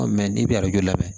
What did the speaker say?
n'i bɛ lamɛn